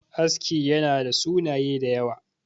aski yana da sunaye da yawa